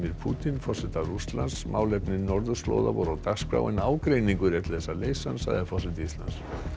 Pútín forseta Rússlands málefni norðurslóða voru á dagskrá en ágreiningur er til þess að leysa hann sagði forseti Íslands